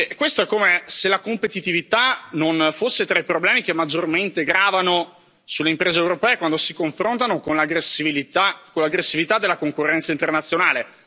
Questo è come se la competitività non fosse tra i problemi che maggiormente gravano sulle imprese europee quando si confrontano con l'aggressività della concorrenza internazionale.